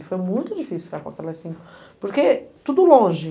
E foi muito difícil ficar com aquelas cinco, porque tudo longe.